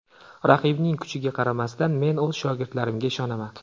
Raqibning kuchiga qaramasdan, men o‘z shogirdlarimga ishonaman.